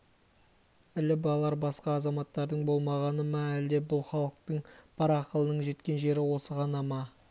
іліп алар басқа азаматтардың болмағаны ма әлде бұл халықтың бар ақылынның жеткен жері осы ғана ма